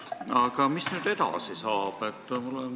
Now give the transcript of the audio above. Aga mis nüüd edasi saab?